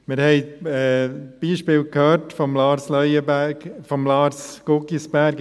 Wir haben Beispiele gehört von Lars Guggisberg.